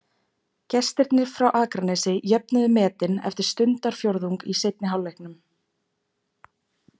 Gestirnir frá Akranesi jöfnuðu metin eftir stundarfjórðung í seinni hálfleiknum.